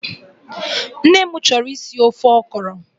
Nne m chọrọ isi ofe Okro